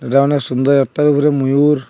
এটা অনেক সুন্দর একটার উপরে ময়ূর।